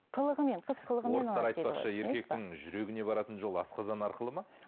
қылығымен қыз қылығымен еркектің жүрегіне баратын жол асқазан арқылы ма